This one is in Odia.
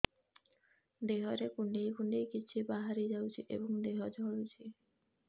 ଦେହରେ କୁଣ୍ଡେଇ କୁଣ୍ଡେଇ କିଛି ବାହାରି ଯାଉଛି ଏବଂ ଦେହ ଜଳୁଛି